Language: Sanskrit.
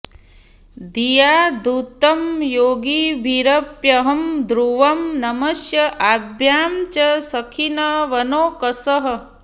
धिया धृतं योगिभिरप्यहं ध्रुवं नमस्य आभ्यां च सखीन् वनौकसः